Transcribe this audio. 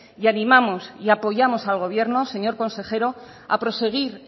y animamos y apoyamos al gobierno señor consejero a proseguir